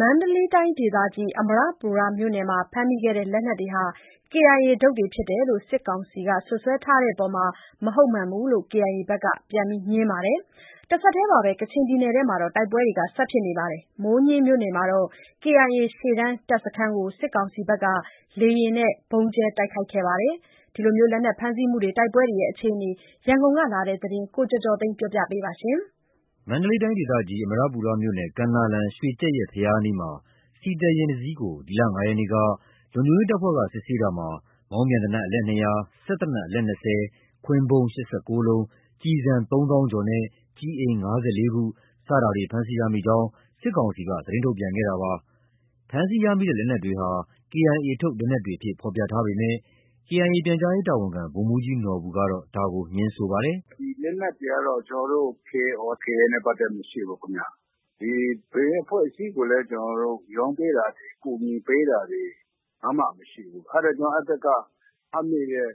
မန္တလေးတိုင်းဒေသကြီး အမရပူရမြို့နယ်မှာ ဖမ်းမိခဲ့တယ်ဆိုတဲ့ လက်နက်တွေဟာ KIA ထုတ်တွေ ဖြစ်တယ်လို့ စစ်ကောင်စီက စွပ်စွဲထားတဲ့အပေါ် မဟုတ်မှန်ကြောင်း KIA ဘက်က ပြန်ငြင်းပါတယ်။ တဆက်တည်းမှာပဲ ကချင်ပြည်နယ်အတွင်းမှာ တိုက်ပွဲတွေ ဆက်ဖြစ်နေပြီး မိုးညှင်းမြို့နယ်မှာတော့ KIA ရှေ့တန်းတပ်စခန်းကို စစ်ကောင်စီက လေယာဉ်နဲ့ ဗုံးကြဲတိုက်ခိုက်ခဲ့ပါတယ်။ လက်နက်ဖမ်းဆီးမှုနဲ့ တိုက်ပွဲအခြေအနေ ရန်ကုန်ကလာတဲ့ သတင်းကို ကိုကျော်ကျော်သိန်း ပြောပြထားပါတယ်။ မန္တလေးတိုင်းဒေသကြီး၊ အမရပူရမြို့နယ်၊ ကမ်းနားလမ်း၊ ရွှေကြက်ယက်ဘုရားအနီးမှာ ဆီသယ်ယာဉ်တစီးကို ဒီလ ၅ ရက်နေ့က လုံခြုံရေးတပ်ဖွဲ့က စစ်ဆေးတာမှာ မောင်းပြန်သေနတ် အလက် ၂၀၀၊ စက်သေနတ် အလက် ၂၀၊ ခွင်းဗုံး ၈၉ လုံး၊ ကျည်ဆန် ၃၀,၀၀၀ ကျော်နဲ့ ကျည်အိမ် ၅၄ ခု စတာတွေ ဖမ်းဆီးရမိကြောင်း စစ်ကောင်စီက သတင်းထုတ်ပြန်ခဲ့တာပါ။ ဖမ်းဆီးရမိတဲ့ လက်နက်တွေဟာ KIA ထုတ် လက်နက်တွေအဖြစ် ဖော်ပြထားပေမယ့် KIA ပြန်ကြားရေးတာဝန်ခံ ဗိုလ်မှူးကြီးနော်ဘူက ဒါကို ငြင်းဆိုပါတယ်။ “ဒီလက်နက်တွေကတော့ ကျနော်တို့ KIO/KIA နဲ့ ပတ်သက်မှု မရှိဘူးခင်ဗျ။ ဒီ ဘယ်အဖွဲ့အစည်းကိုလည်း ကျနော်တို့ ရောင်းပေးတာတွေ၊ ကူညီပေးတာတွေ ဘာမှမရှိဘူး။ အဲဒါကြောင့် အဲဒီဘက်က ဖမ်းမိတဲ့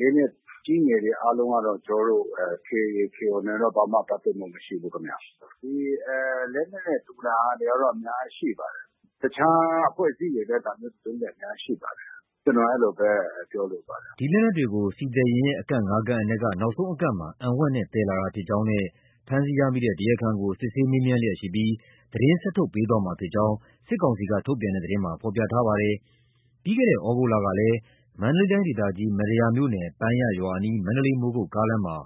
လက်နက်ကြီးငယ်တွေ အားလုံးကတော့ ကျနော်တို့ KIO/KIA နဲ့တော့ ဘာမှ ပတ်သက်မှု မရှိဘူးခင်ဗျ။ လက်နက်တူတာတွေကတော့ အများကြီးရှိပါတယ်။ တခြားအဖွဲ့အစည်းတွေလည်း ဒါမျိုးသုံးတာ အများကြီးရှိပါတယ်။ ကျနော် အဲလိုပဲ ပြောလိုပါတယ်။” ဒီလက်နက်တွေကို ဆီသယ်ယာဉ်ရဲ့ အကန့် ၅ ကန့်အနက်က နောက်ဆုံးအကန့်မှာ အံဝှက်နဲ့ သယ်ဆောင်လာတာဖြစ်ကြောင်းနဲ့ ဖမ်းဆီးရမိတဲ့ တရားခံကို စစ်ဆေးမေးမြန်းလျက်ရှိပြီး သတင်းဆက်လက် ထုတ်ပြန်ပေးသွားမှာဖြစ်ကြောင်း စစ်ကောင်စီက ထုတ်ပြန်တဲ့ သတင်းမှာ ဖော်ပြထားပါတယ်။ ပြီးခဲ့တဲ့ သြဂုတ်လကလည်း မန္တလေးတိုင်းဒေသကြီး မတ္တရာမြို့နယ် ပန်းယျရွာအနီး မန္တလေး-မိုးကုတ်ကားလမ်းမှာ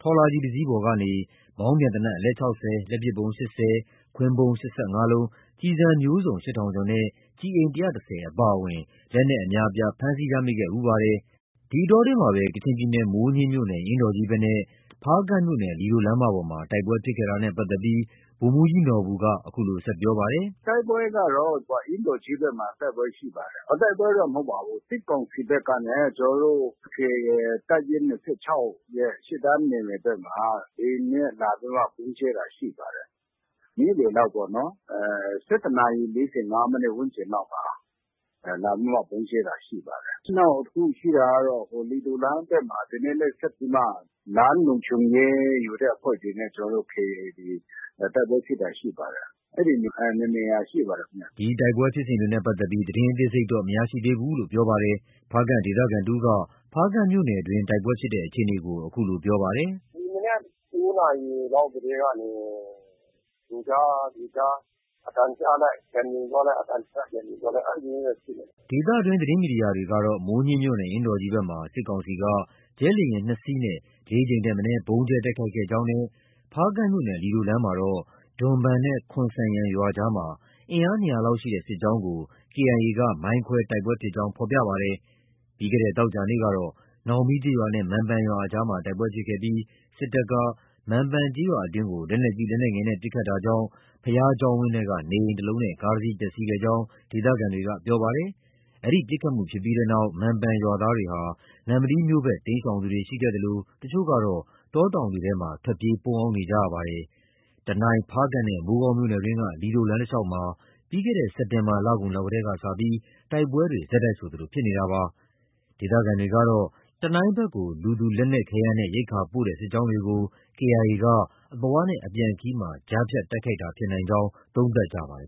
ထော်လာဂျီတစီးပေါ်ကနေ မောင်းပြန်သေနတ် အလက် ၆၀၊ လက်ပစ်ဗုံး ၈၀၊ ခွင်းဗုံး ၈၅ လုံး၊ ကျည်ဆန်မျိုးစုံ ၈,၀၀၀ ကျော်နဲ့ ကျည်အိမ် ၁၁၀ ခု အပါအဝင် လက်နက်အများအပြား ဖမ်းဆီးရမိခဲ့ဖူးပါတယ်။ ဒီအတောအတွင်းမှာပဲ ကချင်ပြည်နယ်၊ မိုးညှင်းမြို့နယ်၊ အင်းတော်ကြီးဘက်နဲ့ ဖားကန့်မြို့နယ်၊ လီဒိုလမ်းမပေါ်မှာ တိုက်ပွဲဖြစ်ခဲ့တာနဲ့ ပတ်သက်ပြီး ဗိုလ်မှူးကြီးနော်ဘူက အခုလို ဆက်ပြောပါတယ်။ “တိုက်ပွဲကတော့ အင်းတော်ကြီးဘက်မှာ တိုက်ပွဲရှိပါတယ်။ တိုက်ပွဲတော့ မဟုတ်ပါဘူး။ စစ်ကောင်စီဘက်ကနေ ကျနော်တို့ KIA တပ်ရင်း ၂၆ ရဲ့ ရှေ့တန်းနယ်မြေဘက်မှာ လေယာဉ်နဲ့လာပြီးမှ ဗုံးကြဲတာ ရှိပါတယ်။ နေ့လယ်လောက်ပေါ့နော်။ ၁၁ နာရီ ၄၅ မိနစ် ဝန်းကျင်လောက်မှာ လာပြီးမှ ဗုံးကြဲတာရှိပါတယ်။ နောက်တခုရှိတာကတော့ လီဒိုလမ်းဘက်မှာ ဒီနေ့လည်း ဆက်ပြီးမှ လမ်းလုံခြုံရေးယူတဲ့ အဖွဲ့တွေနဲ့ ကျနော်တို့ KIA တွေ တိုက်ပွဲဖြစ်တာ ရှိပါတယ်။ အဲဒီနှစ်နေရာ ရှိပါတယ်ခင်ဗျ။” ဒီတိုက်ပွဲဖြစ်စဉ်တွေနဲ့ ပတ်သက်ပြီး သတင်းအသေးစိတ်တော့ မရရှိသေးကြောင်း ပြောပါတယ်။ ဖားကန့်ဒေသခံတဦးက ဖားကန်မြို့နယ်အတွင်း တိုက်ပွဲဖြစ်ပွားတဲ့ အခြေအနေကို အခုလိုပြောပါတယ်။ “ဒီမနက် ၉ နာရီလောက်ကတည်းကနေ ကြိုးကြားကြိုးကြား အသံကြားလိုက် ပြန်ငြိမ်သွားလိုက်၊ အသံကြားလိုက် ပြန်ငြိမ်သွားလိုက် အဲဒါမျိုးနဲ့ ဖြစ်နေတာ။” ဒေသတွင်း သတင်းမီဒီယာတွေကတော့ မိုးညှင်းမြို့နယ် အင်းတော်ကြီးဘက်မှာ စစ်ကောင်စီက ဂျက်လေယာဉ် ၂ စီးနဲ့ ၄ ကြိမ်ထက်မနည်း ဗုံးကြဲတိုက်ခိုက်ခဲ့ကြောင်းနဲ့ ဖားကန့်မြို့နယ်၊ လီဒိုလမ်းမှာတော့ ဒွမ်ဘန်နဲ့ ခွန်ဆန်ယန်ရွာအကြားမှာ အင်အား ၂၀၀ လောက်ရှိတဲ့ စစ်ကြောင်းကို KIA က မိုင်းခွဲပြီး တိုက်ပွဲဖြစ်ကြောင်း ဖော်ပြပါတယ်။ ပြီးခဲ့တဲ့ သောကြာနေ့ကတော့ နောင်မီးကျေးရွာနဲ့ မံပန်ရွာအကြားမှာ တိုက်ပွဲဖြစ်ခဲ့ပြီး စစ်ကောင်စီတပ်က မံပန်ကျေးရွာအတွင်းကို လက်နက်ကြီး၊ လက်နက်ငယ်နဲ့ ပစ်ခတ်တာကြောင့် ဘုရားကျောင်းဝန်းက နေအိမ်တလုံးနဲ့ ကားတစီး ပျက်စီးခဲ့ကြောင်း ဒေသခံတွေက ပြောပါတယ်။ အဲဒီပစ်ခတ်မှု ဖြစ်ပြီးတဲ့နောက် မံပန်ရွာသားတွေဟာ နမ္မတီးမြို့ဘက် တိမ်းရှောင်သူတွေ ရှိခဲ့သလို တချို့ကတော့ တောတောင်တွေထဲမှာ ထွက်ပြေး ပုန်းအောင်းနေကြပါတယ်။ တနိုင်း၊ ဖားကန့်နဲ့ မိုးကောင်းမြို့နယ်တွင်းက လီဒိုလမ်းတလျှောက်မှာ ပြီးခဲ့တဲ့ စက်တင်ဘာလကုန်လောက်ကတည်းကစပြီး တိုက်ပွဲတွေ ဆက်တိုက်ဆိုသလို ဖြစ်နေတာပါ။ ဒေသခံတွေကတော့ တနိုင်းဘက်ကို လူ၊ လက်နက်ခဲယမ်းနဲ့ ရိက္ခာပို့တဲ့ စစ်ကြောင်းတွေကို KIA က အသွားနဲ့ အပြန်ခရီးမှာ ကြားဖြတ်တိုက်ခိုက်တာ ဖြစ်နိုင်ကြောင်း သုံးသပ်ကြပါတယ်